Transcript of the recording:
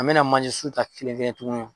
A mɛna manjesun ta kelen kelen tuguni.